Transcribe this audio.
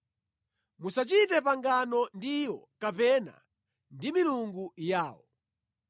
Musachite pangano ndi iwo kapena ndi milungu yawo.